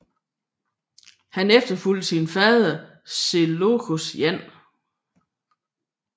Han efterfulgt sin fader Seleukos 1